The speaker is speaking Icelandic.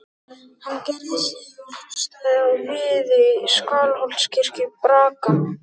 Hann gerði hlé og hlustaði á viði Skálholtskirkju braka.